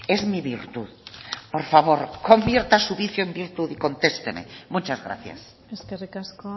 es mi virtud por favor convierta su vicio en virtud y contesteme muchas gracias eskerrik asko